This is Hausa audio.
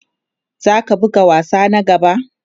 Za ka buga wasa na gaba?